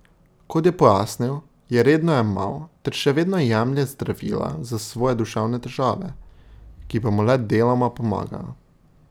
Kot je pojasnil, je redno jemal ter še vedno jemlje zdravila za svoje duševne težave, ki pa mu le deloma pomagajo.